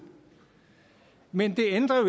men det ændrer jo